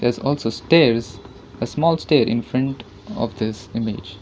also stairs a small stair infront of this image.